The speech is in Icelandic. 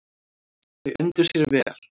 Þau undu sér vel.